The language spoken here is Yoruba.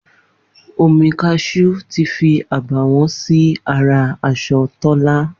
Omi kashú tí fí àbàwọ́n sí ara aṣọ Tólá